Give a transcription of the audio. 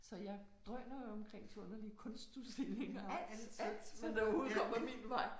Så jeg drøner jo omkring til underlige kunstudstillinger alt alt hvad der overhovedet kommer min vej